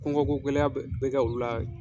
Kɔnkɔ ko gɛlɛya bɛ kɛ u la.